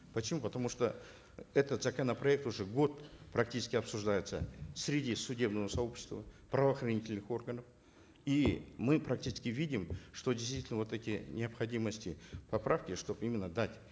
почему потому что этот законопроект уже год практически обсуждается среди судебного сообщества правоохранительных органов и мы практически видим что действительно вот эти необходимости поправки что именно дать